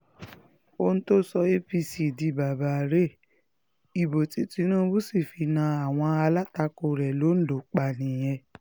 ohun tó sọ apc di bàbá rèé ìbò tí tinubu sì fi na àwọn alátakò rẹ̀ londo pa nìyẹn